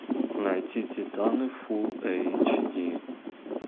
найти титаны фул эйч ди